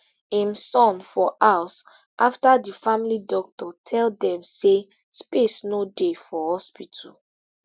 im son for house afta di family doctor tell dem say space no dey for hospital